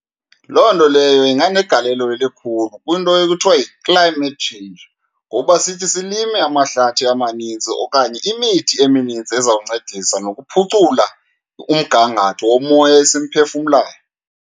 Loo nto leyo inganegalelo elikhulu kwinto ekuthiwa yi-climate change, ngoba sithi silime amahlathi amanintsi okanye imithi eminintsi ezawuncedisa nokuphucula umgangatho womoya esimphefumlayo.